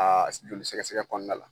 Aa Joli sɛgɛ sɛgɛ kɔnɔna la